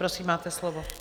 Prosím, máte slovo.